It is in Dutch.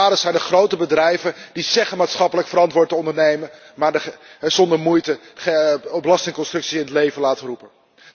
De daders zijn de grote bedrijven die zeggen maatschappelijk verantwoord te ondernemen maar zonder moeite belastingconstructies in het leven laten roepen.